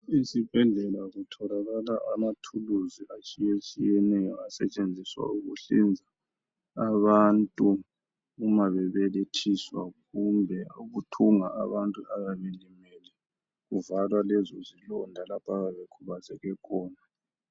Izibhedlela kutholakala amaThuluzi atshiye tshiyeneyo asetshenziswa ukuhlinza abantu uma bebelethiswa kumbe ukuthunga abantu abayabe belimele kuvalwa lezo zilonda abayabe bekhubazeke khona.